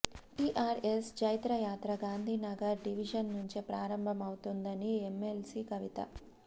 TRS జైత్రయాత్ర Gandhi Nagar division నుంచే ప్రారంభమవుతుందన్నారు ఎమ్మెల్సీ కవిత